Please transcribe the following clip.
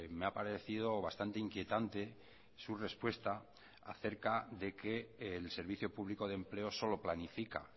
me ha parecido bastante inquietante su respuesta acerca de que el servicio público de empleo solo planifica